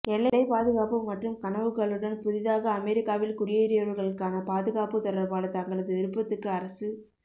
எல்லை பாதுகாப்பு மற்றும் கனவுகளுடன் புதிதாக அமெரிக்காவில் குடியேறியவர்களுக்கான பாதுகாப்பு தொடர்பான தங்களது விருப்பத்துக்கு அரசு